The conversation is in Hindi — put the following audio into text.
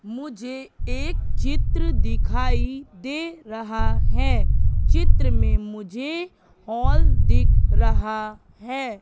मुझे एक चित्र दिखाई दे रहा हैं चित्र में मुझे हॉल दिख रहा हैं।